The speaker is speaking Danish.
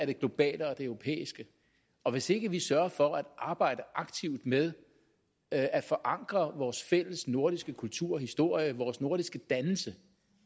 det globale og det europæiske og hvis ikke vi sørger for at arbejde aktivt med at at forankre vores fælles nordiske kultur og historie vores nordiske dannelse